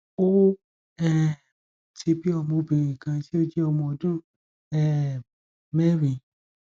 o um ti bi ọmọ obìnrin kan tí ó jẹ ọmọ ọdún um mẹrin